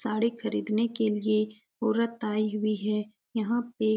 साड़ी खरीदने के लिये ओरत आयी हुई है यहाँ पे।